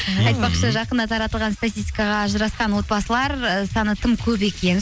айтпақшы жақында таратылған статистикаға ажырасқан отбасылар саны тым көп екен